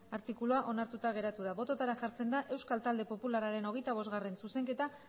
artikulua onartuta geratu da bototara jartzen da euskal talde popularraren hogeita bostgarrena zuzenketa